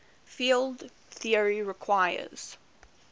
field theory requires